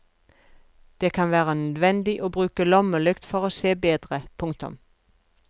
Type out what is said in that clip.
Det kan være nødvendig å bruke lommelykt for å se bedre. punktum